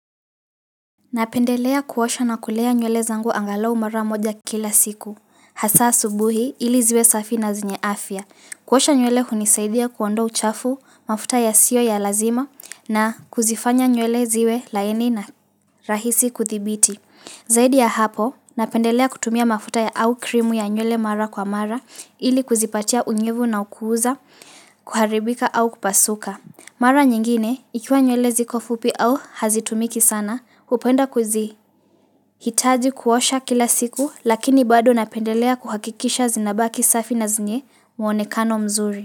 Napendelea kuosha na kulea nywele zangu angalau mara moja kila siku Hasaa asubuhi ili ziwe safi na zenye afya kuosha nywele hunisaidia kuondoa uchafu, mafuta ya sio ya lazima na kuzifanya nywele ziwe laini na rahisi kudhibiti Zaidi ya hapo, napendelea kutumia mafuta ya au krimu ya nywele mara kwa mara Ili kuzipatia unyevu na ukuuza, kuharibika au kupasuka Mara nyingine, ikiwa nywele zikofupi au hazitumiki sana upenda kuzi. Hitaji kuwasha kila siku lakini bado napendelea kuhakikisha zinabaki safi na zenye muonekano mzuri.